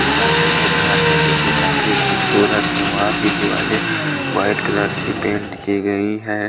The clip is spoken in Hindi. ये सामने एक घर है जोकि काफी खूबसूरत है वहां की दिवाले व्हाइट कलर से पेंट की गई है।